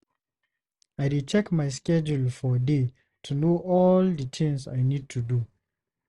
I dey check my schedule for day to know all the things I need to do.